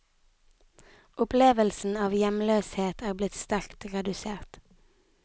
Opplevelsen av hjemløshet er blitt sterkt redusert.